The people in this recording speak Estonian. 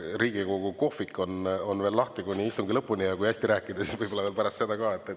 Riigikogu kohvik on veel lahti kuni istungi lõpuni ja kui hästi rääkida, siis võib-olla pärast seda ka.